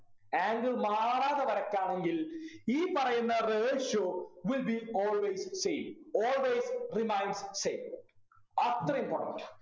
angle മാറാതെ വരയ്ക്കാമെങ്കിൽ ഈ പറയുന്ന ratio will be always same always remains same അത്ര important ആ